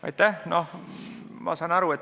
Aitäh!